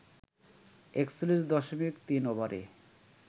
৪১ দশমিক ৩ ওভারে